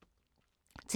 TV 2